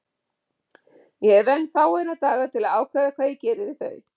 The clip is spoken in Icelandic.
Ég hef enn fáeina daga til að ákveða hvað ég geri við þau.